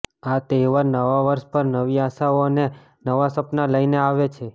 આ તહેવાર નવા વર્ષ પર નવી આશાઓ અને નવા સપના લઈને આવે છે